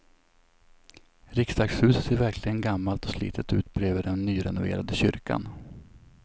Riksdagshuset ser verkligen gammalt och slitet ut bredvid den nyrenoverade kyrkan.